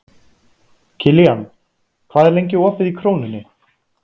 Kilían, hvað er lengi opið í Krónunni?